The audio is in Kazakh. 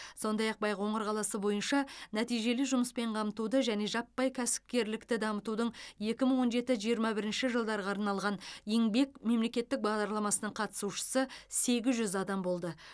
сондай ақ байқоңыр қаласы бойынша нәтижелі жұмыспен қамтуды және жаппай кәсіпкерлікті дамытудың екі мың он жеті жиырма бірінші жылдарға арналған еңбек мемлекеттік бағдарламасының қатысушысы сегіз жүз адам болды